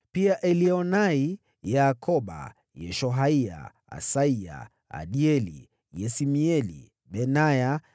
Pia Elioenai, Yaakoba, Yeshohaya, Asaya, Adieli, Yesimieli, Benaya,